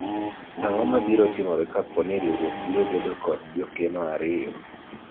ang'o mabiro timore kapo ni riwruok biro bedo kod jokeno ariyo ?